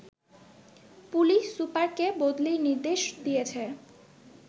police সুপারকে বদলির নির্দেশ দিয়েছে